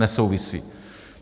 Nesouvisí.